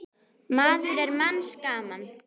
maður er manns gaman.